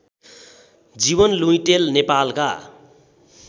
जीवन लुइटेल नेपालका